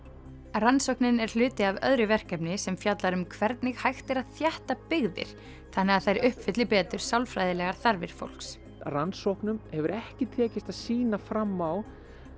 rannsóknin er hluti af öðru verkefni sem fjallar um hvernig hægt er að þétta byggðir þannig að þær uppfylli betur sálfræðilegar þarfir fólks rannsóknum hefur ekki tekist að sýna fram á